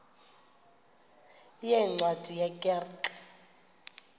yeencwadi ye kerk